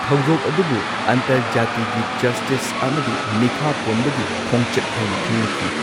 ꯊꯧꯗꯣꯛ ꯑꯗꯨꯕꯨ ꯑꯟꯇꯔꯖꯥꯇꯤꯒꯤ ꯖꯁꯇꯤꯁ ꯑꯃꯗꯤ ꯃꯤꯈꯥ ꯄꯣꯟꯕꯒꯤ ꯈꯣꯡꯆꯠ ꯍꯥꯏꯅ ꯈꯪꯅꯈꯤ꯫